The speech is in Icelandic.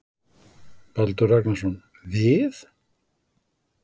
Baldur Ragnarsson: Við?